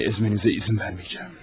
Bəni əzmənizə izin verməyəcəm.